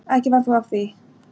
Ekki varð þó af því.